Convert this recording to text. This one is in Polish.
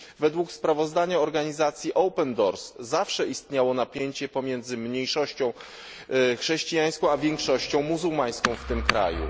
Według sprawozdania organizacji Open Doors zawsze istniało napięcie pomiędzy mniejszością chrześcijańską i większością muzułmańską w tym kraju.